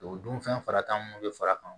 O dun fɛn fara tan mun bɛ far'a kan